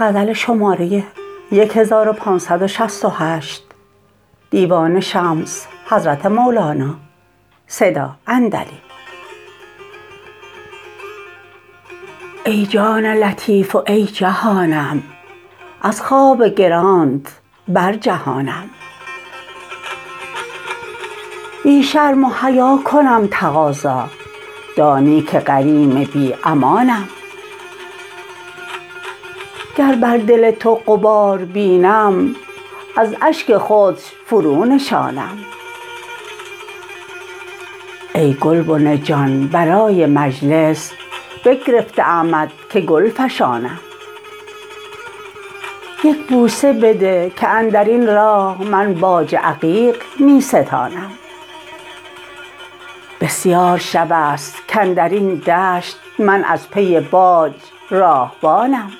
ای جان لطیف و ای جهانم از خواب گرانت برجهانم بی شرم و حیا کنم تقاضا دانی که غریم بی امانم گر بر دل تو غبار بینم از اشک خودش فرونشانم ای گلبن جان برای مجلس بگرفته امت که گل فشانم یک بوسه بده که اندر این راه من باج عقیق می ستانم بسیار شب است کاندر این دشت من از پی باج راهبانم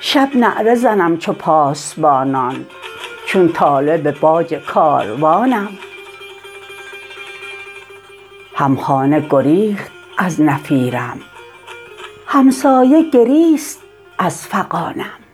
شب نعره زنم چو پاسبانان چون طالب باج کاروانم همخانه گریخت از نفیرم همسایه گریست از فغانم